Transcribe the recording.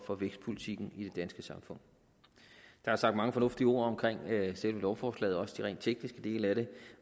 for vækstpolitikken i det danske samfund der er sagt mange fornuftige ord om selve lovforslaget og også om de rent tekniske dele af det